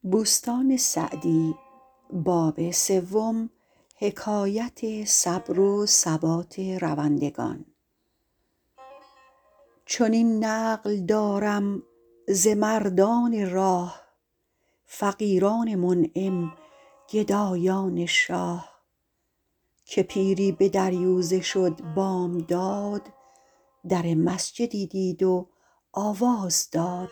چنین نقل دارم ز مردان راه فقیران منعم گدایان شاه که پیری به دریوزه شد بامداد در مسجدی دید و آواز داد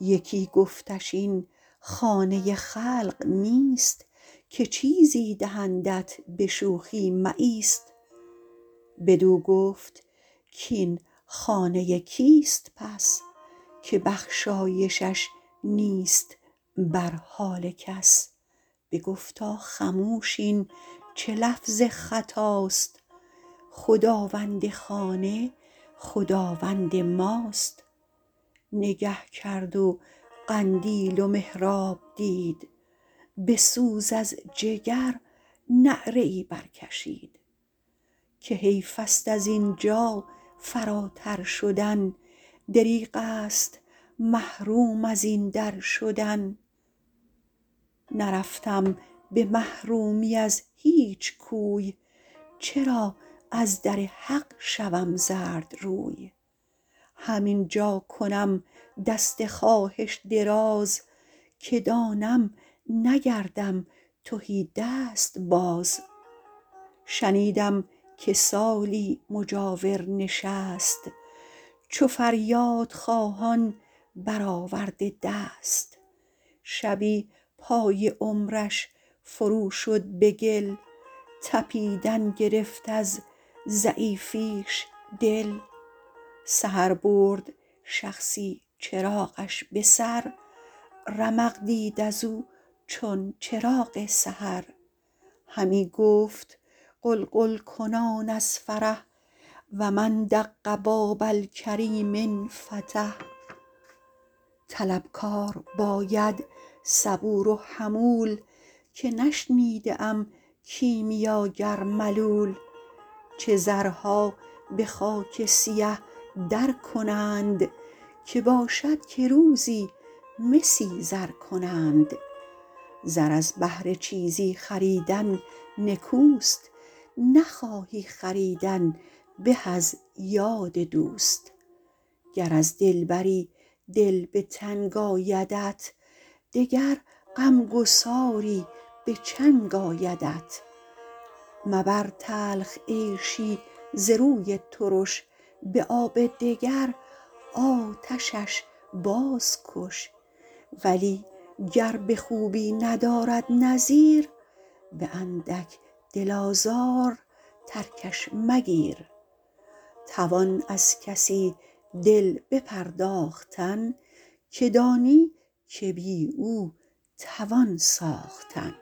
یکی گفتش این خانه خلق نیست که چیزی دهندت به شوخی مایست بدو گفت کاین خانه کیست پس که بخشایشش نیست بر حال کس بگفتا خموش این چه لفظ خطاست خداوند خانه خداوند ماست نگه کرد و قندیل و محراب دید به سوز از جگر نعره ای بر کشید که حیف است از اینجا فراتر شدن دریغ است محروم از این در شدن نرفتم به محرومی از هیچ کوی چرا از در حق شوم زردروی هم اینجا کنم دست خواهش دراز که دانم نگردم تهیدست باز شنیدم که سالی مجاور نشست چو فریاد خواهان برآورده دست شبی پای عمرش فرو شد به گل تپیدن گرفت از ضعیفیش دل سحر برد شخصی چراغش به سر رمق دید از او چون چراغ سحر همی گفت غلغل کنان از فرح و من دق باب الکریم انفتح طلبکار باید صبور و حمول که نشنیده ام کیمیاگر ملول چه زرها به خاک سیه در کنند که باشد که روزی مسی زر کنند زر از بهر چیزی خریدن نکوست نخواهی خریدن به از یاد دوست گر از دلبری دل به تنگ آیدت دگر غمگساری به چنگ آیدت مبر تلخ عیشی ز روی ترش به آب دگر آتشش باز کش ولی گر به خوبی ندارد نظیر به اندک دل آزار ترکش مگیر توان از کسی دل بپرداختن که دانی که بی او توان ساختن